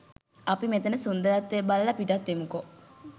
අපි මෙතන සුන්දරත්වය බලල පිටත් වෙමුකෝ